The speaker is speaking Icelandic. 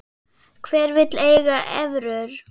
Hver vill eiga evrur?